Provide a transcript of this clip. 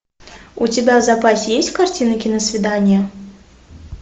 у тебя в запасе есть картина киносвидание